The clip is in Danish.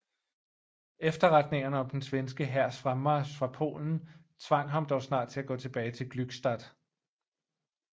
Efterretningerne om den svenske hærs fremmarch fra Polen tvang ham dog snart til at gå tilbage til Glückstadt